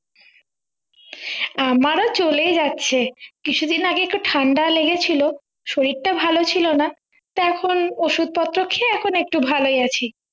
আমারও চলেই যাচ্ছে কিছুদিন আগে একটু ঠাণ্ডা লেগেছিলো শরীর টা ভালো ছিল না তারপর ওষুধ পত্র খেয়ে এখন একটু ভালোই আছি।